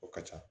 O ka ca